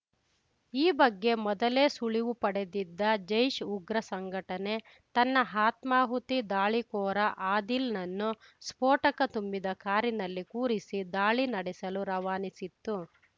ಈ ಬಗ್ಗೆ ಮೊದಲೇ ಸುಳಿವು ಪಡೆದಿದ್ದ ಜೈಷ್‌ ಉಗ್ರ ಸಂಘಟನೆ ತನ್ನ ಆತ್ಮಾಹುತಿ ದಾಳಿಕೋರ ಆದಿಲ್‌ನನ್ನು ಸ್ಫೋಟಕ ತುಂಬಿದ ಕಾರಿನಲ್ಲಿ ಕೂರಿಸಿ ದಾಳಿ ನಡೆಸಲು ರವಾನಿಸಿತ್ತು